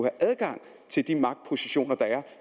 adgang til de magtpositioner der er